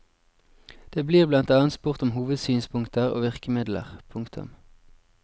Det blir blant annet spurt om hovedsynspunkter og virkemidler. punktum